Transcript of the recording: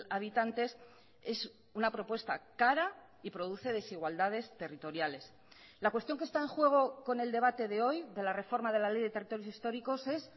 habitantes es una propuesta cara y produce desigualdades territoriales la cuestión que está en juego con el debate de hoy de la reforma de la ley de territorios históricos es